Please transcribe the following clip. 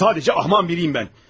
Sadəcə axmaq biriyəm mən.